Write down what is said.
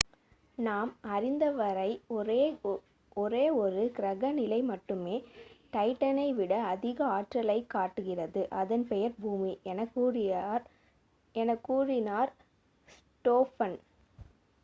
நாம் அறிந்தவரை ஒரே ஒரு கிரக நிலை மட்டுமே டைட்டனை விட அதிக ஆற்றலைக் காட்டுகிறது அதன் பெயர் பூமி எனக் கூறினார் ஸ்டோஃபன்